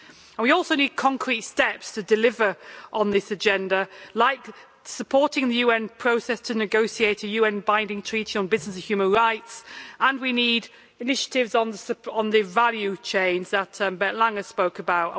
We also need concrete steps to deliver on this agenda, like supporting the UN process to negotiate a UN binding treaty on business and human rights, and we need initiatives on the value chains that Bernd Lange spoke about.